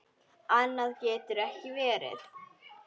Annað getur ekki verið.